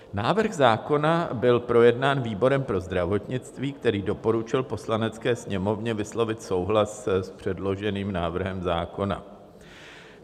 Návrh zákona byl projednán výborem pro zdravotnictví, který doporučil Poslanecké sněmovně vyslovit souhlas s předloženým návrhem zákona.